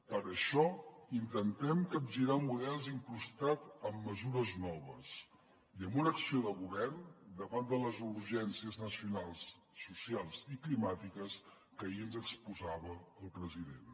per això intentem capgirar models incrustats amb mesures noves i amb una acció de govern davant de les urgències nacionals socials i climàtiques que ahir ens exposava el president